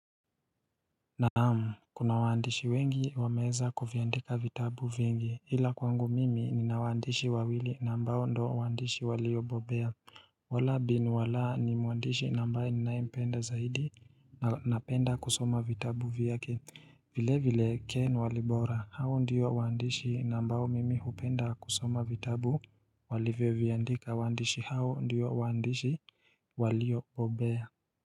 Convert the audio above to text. Naamu kuna waandishi wengi wameanza kuviandika vitabu vingi ila kwangu mimi nina wandishi wawili na ambao ndo waandishi waliyo bobea wala bin wala ni muandishi na ambaye ninaye mpenda zaidi na napenda kusoma vitabu vyake vile vile ken Walibora hao ndio waandishi na ambao mimi hupenda kusoma vitabu walivyo vyandika wandishi hao ndiyo wandishi waliyo bobea.